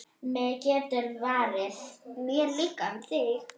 Mér líka um þig.